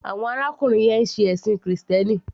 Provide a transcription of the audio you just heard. Awon arákùnrin yẹn ń ṣe ẹ̀ṣìn krìstẹ́nì.